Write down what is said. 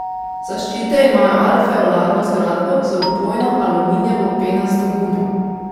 Zaščite imajo alveolarno zgradbo z vpojno aluminijevo penasto gumo.